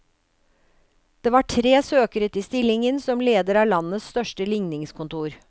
Det var tre søkere til stillingen som leder av landets største ligningskontor.